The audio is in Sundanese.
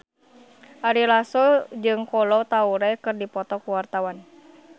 Ari Lasso jeung Kolo Taure keur dipoto ku wartawan